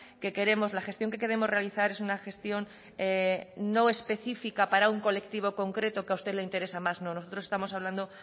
que queremos la gestión que queremos realizar es una gestión no específica para un colectivo concreto que a usted le interesa más no nosotros estamos hablando